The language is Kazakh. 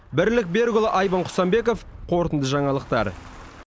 бірлік берікұлы айбын құсанбеков қорытынды жаңалықтар